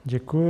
Děkuji.